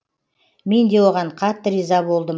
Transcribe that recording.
мен де оған қатты риза болдым